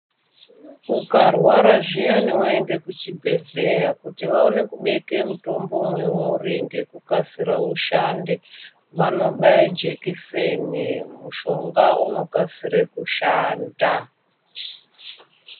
Ukarwara zviyani waende kuchibhedhleya kuti vaone kubeke mutombo mweuri ngekukasira ushande vanobaya jekiseni, mushonga unokasire kushanda.